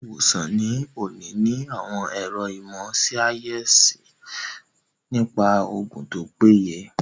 Àwọn ilé-ìwòsàn ní òní ní àwọn àwọn ẹ̀ro ìmọ̀ síáyẹ́nsì nípa oògùn tó péye